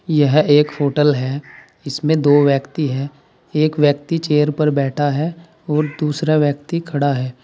यह एक होटल है इसमें दो व्यक्ति है एक व्यक्ति चेयर पर बैठा है और दूसरा व्यक्ति खड़ा है।